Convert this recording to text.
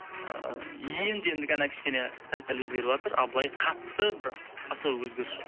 ыыы енді енді ғана кішкене сәл сәл өзгеріватыр ал былай қатты бір особо өзгеріс жоқ